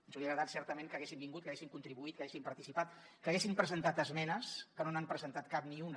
ens hauria agradat certament que haguessin vingut que haguessin contribuït que haguessin participat que haguessin presentat esmenes que no n’han presentat cap ni una